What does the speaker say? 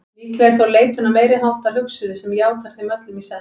Líklega er þó leitun að meiriháttar hugsuði sem játar þeim öllum í senn.